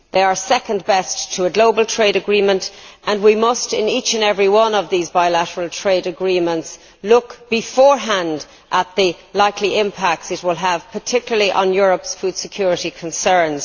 They are second best to a global trade agreement and we must in each and every one of the bilateral trade agreements look beforehand at the likely impacts it will have, particularly on Europe's food security concerns.